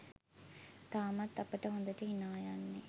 තාමත් අපට හොඳට හිනා යන්නේ.